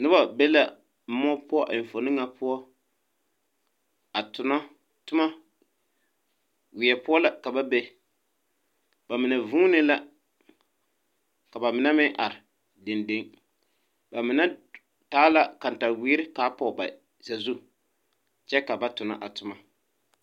Nobɔ be la muo poʊ a eŋfuone na poʊ a tono tomo. Wie poʊ la ka ba be. Ba mene vuune la. Ka ba mene meŋ are dendeŋ. Ba mene taa la kantawiere ka a poge ba sazu kyɛ ka ba tona a toma